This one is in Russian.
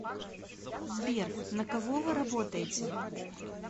сбер на кого вы работаете